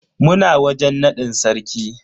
Muna wajen nadin sarki.